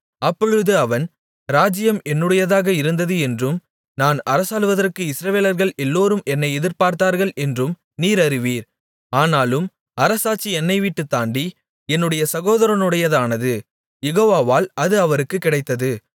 அப்பொழுது அவன் ராஜ்ஜியம் என்னுடையதாக இருந்தது என்றும் நான் அரசாளுவதற்கு இஸ்ரவேலர்கள் எல்லோரும் என்னை எதிர்பார்த்தார்கள் என்றும் நீர் அறிவீர் ஆனாலும் அரசாட்சி என்னைவிட்டுத் தாண்டி என்னுடைய சகோதரனுடையதானது யெகோவாவால் அது அவருக்குக் கிடைத்தது